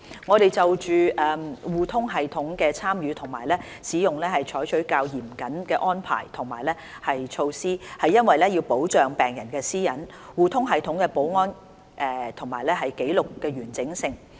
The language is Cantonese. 我們就互通系統的參與和使用採取較嚴謹的安排和措施，是為了保障病人的私隱、互通系統的保安和紀錄的完整性。